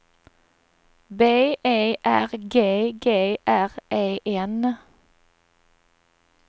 B E R G G R E N